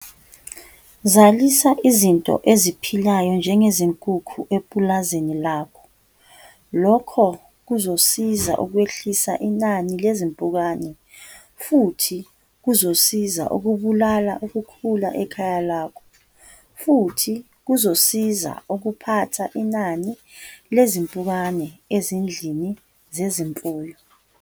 Zalisa izinto eziphilayo njengezinkukhu epulazini lakho. Lokho kuzosiza ukwehlisa inani lezimpukane futhi kuzosiza ukubulala ukhula ekhaya lakho, futhi kuzosiza ukuphatha inani lezimpukane ezindlini zezimfuyo.